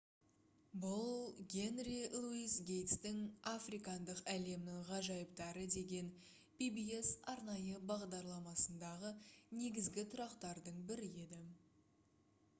бұл генри луис гейтстің «африкандық әлемнің ғажайыптары» деген pbs арнайы бағдарламасындағы негізгі тұрақтардың бірі еді